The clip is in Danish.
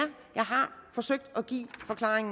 jeg har forsøgt at give en forklaring